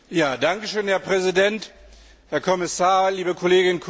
Herr Präsident, Herr Kommissar, liebe Kolleginnen und Kollegen!